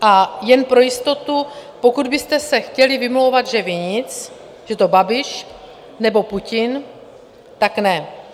A jen pro jistotu, pokud byste se chtěli vymlouvat, že vy nic, že to Babiš nebo Putin, tak ne.